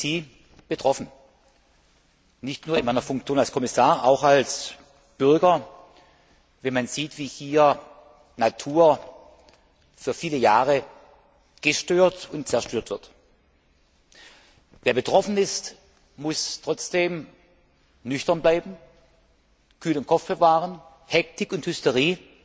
Ich bin wie Sie betroffen, nicht nur in meiner Funktion als Kommissar, auch als Bürger, wenn man sieht, wie hier Natur für viele Jahre gestört und zerstört wird. Wer betroffen ist, muss trotzdem nüchtern bleiben, kühlen Kopf bewahren, Hektik und Hysterie